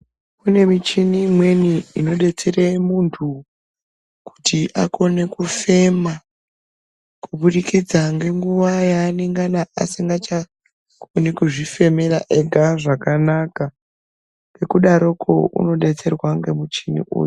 Kune michini imweni inodetsere muntu kuti akone kufema kuburikidza ngenguwa yaanenge asingachakoni kuzvifemera ega zvakanaka ngekudaroko unodetserwa ngemuchini uyu.